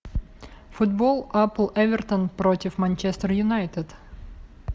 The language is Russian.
футбол апл эвертон против манчестер юнайтед